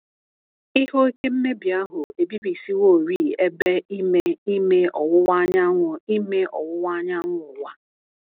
Ihe oke mmebi ahụ ebibisịworị Ebe Ime Ime Ọwuwa Anyanwụ Ime Ọwuwa Anyanwụ Ụwa.